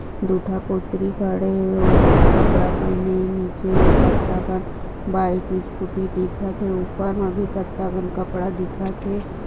दुखापोत्री सारे ओ कपड़ा पहने नीचे कट्टा बा बाई की स्कूटी दिखत है। उपर कट्टा कपड़ा दिखाते है।